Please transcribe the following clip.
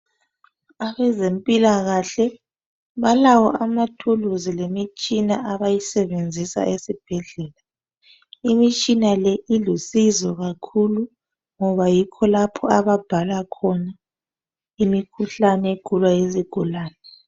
Abezempilakahle balawo amathulusi lemitshina abayisebenzisa esibhedlela. Imitshina le ilusizo kakhulu ngoba yikho lapho ababhala khona imikhuhlane egulwa yizigulane.